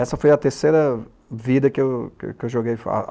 Essa foi a terceira vida que eu joguei.